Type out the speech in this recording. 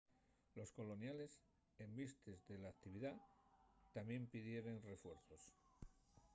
los coloniales en vistes de l'actividá tamién pidieren refuerzos